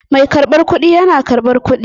Mai karbar kuɗi yana karɓar kuɗi.